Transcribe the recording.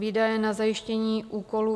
Výdaje na zajištění úkolů